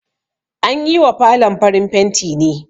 An yi wa falon farin fenti ne